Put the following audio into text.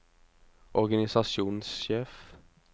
organisasjonssjef